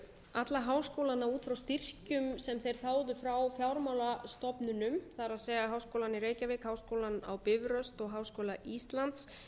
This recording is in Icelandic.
alla háskólana út frá styrkjum sem þeir þáðu frá fjármálastofnunum það er háskólann í reykjavík háskólann á bifröst og háskóla íslands